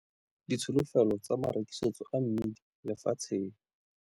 Ditsholofelo tsa marekisetso a mmidi lefatsheng.